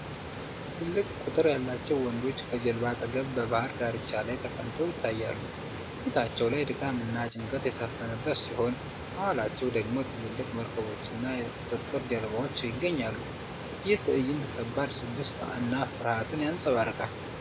ትልቅ ቁጥር ያላቸው ወንዶች ከጀልባ አጠገብ በባህር ዳርቻ ላይ ተቀምጠው ይታያሉ። ፊታቸው ላይ ድካም እና ጭንቀት የሰፈነበት ሲሆን፣ ከኋላቸው ደግሞ ትልልቅ መርከቦችና የቁጥጥር ጀልባዎች ይገኛሉ። ይህ ትዕይንት ከባድ ስደት እና ፍርሃትን ያንጸባርቃል።